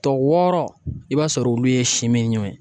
Tɔ wɔɔrɔ i b'a sɔrɔ olu ye simiɲɔɔn ye